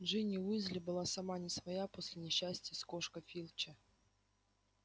джинни уизли была сама не своя после несчастья с кошкой филча